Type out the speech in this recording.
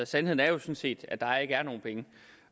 sandheden er jo sådan set at der ikke er nogen penge